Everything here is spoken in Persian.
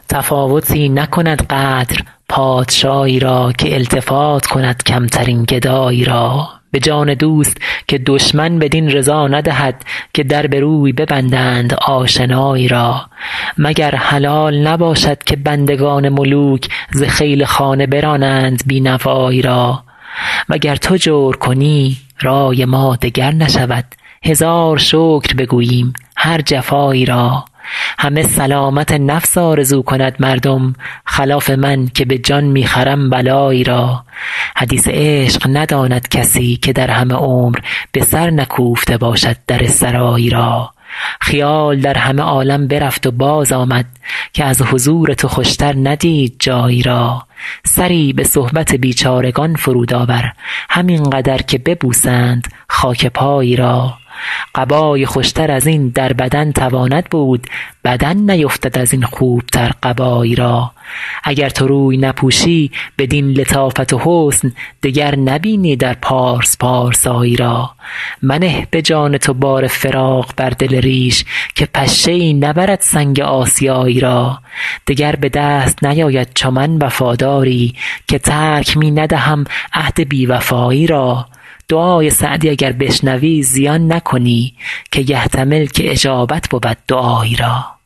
تفاوتی نکند قدر پادشایی را که التفات کند کمترین گدایی را به جان دوست که دشمن بدین رضا ندهد که در به روی ببندند آشنایی را مگر حلال نباشد که بندگان ملوک ز خیل خانه برانند بی نوایی را و گر تو جور کنی رای ما دگر نشود هزار شکر بگوییم هر جفایی را همه سلامت نفس آرزو کند مردم خلاف من که به جان می خرم بلایی را حدیث عشق نداند کسی که در همه عمر به سر نکوفته باشد در سرایی را خیال در همه عالم برفت و بازآمد که از حضور تو خوشتر ندید جایی را سری به صحبت بیچارگان فرود آور همین قدر که ببوسند خاک پایی را قبای خوشتر از این در بدن تواند بود بدن نیفتد از این خوبتر قبایی را اگر تو روی نپوشی بدین لطافت و حسن دگر نبینی در پارس پارسایی را منه به جان تو بار فراق بر دل ریش که پشه ای نبرد سنگ آسیایی را دگر به دست نیاید چو من وفاداری که ترک می ندهم عهد بی وفایی را دعای سعدی اگر بشنوی زیان نکنی که یحتمل که اجابت بود دعایی را